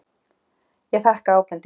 Ég þakka ábendinguna.